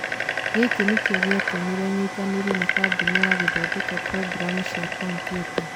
Gĩkĩ nĩkĩo gĩatũmire nyitanĩre na kambuni ya gũthondeka programu cia kompiuta.